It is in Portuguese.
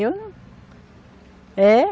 Eu não. É